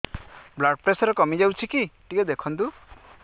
blood pressure କମି ଯାଉଛି କି ଟିକେ ଦେଖନ୍ତୁ